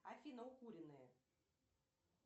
афина укуренные